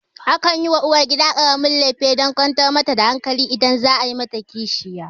Akan yi wa uwargida ƙaramin lefe dan kwantar mata da hankali idan za a yi mata kishiya